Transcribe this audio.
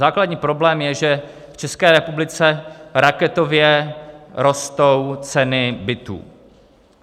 Základní problém je, že v České republice raketově rostou ceny bytů.